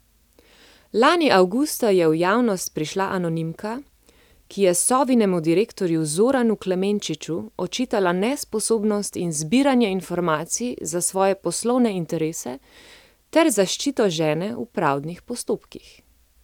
Lani avgusta je v javnost prišla anonimka, ki je Sovinemu direktorju Zoranu Klemenčiču očitala nesposobnost in zbiranje informacij za svoje poslovne interese ter zaščito žene v pravdnih postopkih.